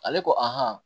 Ale ko ahan